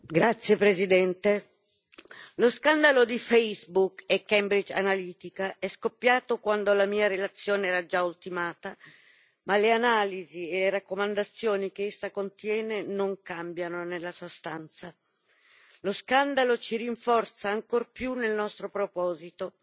Signor Presidente, onorevoli colleghi, lo scandalo di Facebook e Cambridge Analytica è scoppiato quando la mia relazione era già ultimata, ma le analisi e raccomandazioni che essa contiene non cambiano nella sostanza. Lo scandalo ci rinforza ancor più nel nostro proposito